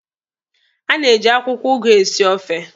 A na-eji akwụkwọ ụgụ esi ofe